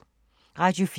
Radio 4